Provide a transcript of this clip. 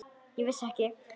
Ég vissi ekki.